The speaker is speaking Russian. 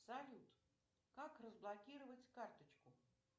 салют как разблокировать карточку